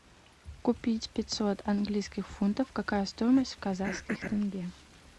купить пятьсот английских фунтов какая стоимость в казахских тенге